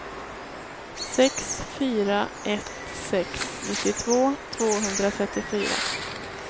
sex fyra ett sex nittiotvå tvåhundratrettiofyra